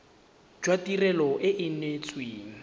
jwa tirelo e e neetsweng